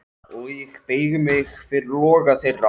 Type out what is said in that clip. Og ég beygi mig fyrir loga þeirra.